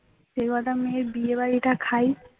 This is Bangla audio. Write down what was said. যে কটা মেয়ে বিয়ে বাড়িটা খাই